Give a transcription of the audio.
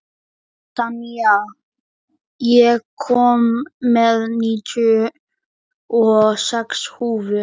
Senía, ég kom með níutíu og sex húfur!